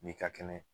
N'i ka kɛnɛ